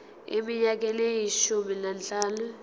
eminyakeni eyishumi nanhlanu